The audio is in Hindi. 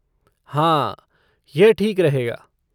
हाँ, यह ठीक रहेगा।